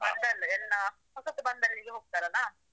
ಬಂದವರ್ ಎಲ್ಲ ಹೊಸತು ಬಂದಲ್ಲಿಗೆ ಹೋಗ್ತಾರಲ್ಲಾ.